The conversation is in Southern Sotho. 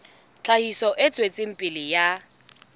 tlhahiso e tswetseng pele ya